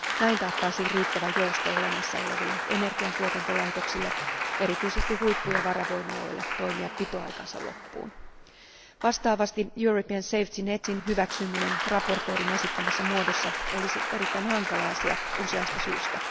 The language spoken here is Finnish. Näin taattaisiin riittävä jousto olemassa oleville energiantuotantolaitoksille, erityisesti huippu ja varavoimaloille toimia pitoaikansa loppuun. Vastaavasti European Safety Net in hyväksyminen esittelijän esittämässä muodossa olisi erittäin hankala asia useasta syystä.